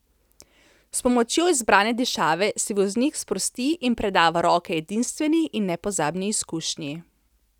S pomočjo izbrane dišave se voznik sprosti in preda v roke edinstveni in nepozabni izkušnji.